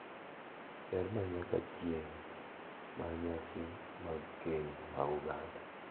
Ber ma nyaka chieng’ mar nyasi mag keny mag oganda